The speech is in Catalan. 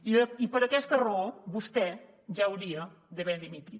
i per aquesta raó vostè ja hauria d’haver dimitit